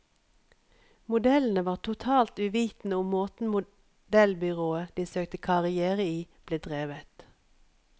Modellene var totalt uvitende om måten modellbyrået de søkte karrière i, ble drevet.